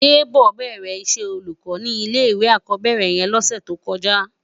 Debo bèrè iṣè ólúkò ni ilé iwé ákòbèrè yèn lòsè tókòjá